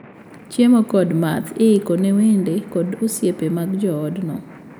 Chiemo kod math iiko ne wede kod osipe mag joodno.